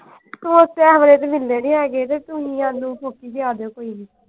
ਸਮੋਸੇ ਇਸ ਵੇਲੇ ਤੇ ਮਿਲਨੇ ਨਹੀਂ ਹੈਗੇ ਤੇ ਤੁਸੀਂ ਅਲੀ ਲਿਆ ਦਿਓ ਕੋਈ ਨਹੀਂ।